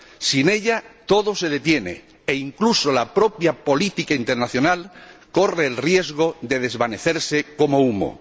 Sin ella todo se detiene e incluso la propia política internacional corre el riesgo de desvanecerse como humo.